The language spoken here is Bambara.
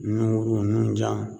Nunkuru nunjan